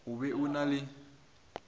o be o na le